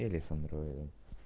или с андроида